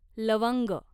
लवंग